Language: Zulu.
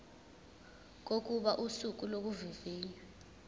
kokuba usuku lokuvivinywa